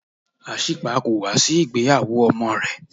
Asípa kò wá sí ìgbéyàwó ọmọ rẹ̀.